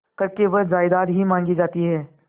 करके वह जायदाद ही मॉँगी जाती है